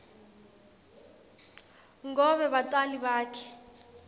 ngobe batali bakhe